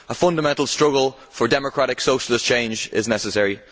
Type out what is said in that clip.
A fundamental struggle for democratic socialist change is necessary.